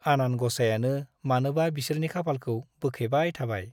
आनान ग'साइयानो मानोबा बिसोरनि खाफालखौ बोखेबाय थाबाय ।